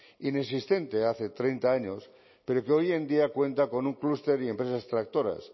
inexistente hace treinta años pero que hoy en día cuenta con un cluster y empresas tractoras